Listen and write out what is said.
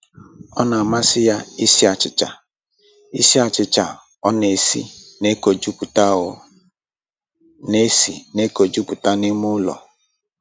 Ọ na-amasị ya isi achịcha, isi achịcha ọ na-esi na-ekojuputa ọ na-esi na-ekojuputa n'ime ụlọ